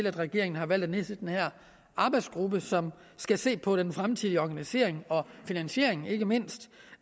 at regeringen har valgt at nedsætte den her arbejdsgruppe som skal se på den fremtidige organisation og finansiering ikke mindst